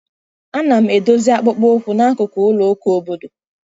Ana m edozi akpụkpọ ụkwụ n'akụkụ ụlọ ụka obodo.